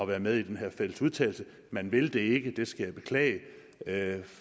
være med i den her fælles udtalelse men vil det ikke det skal jeg beklage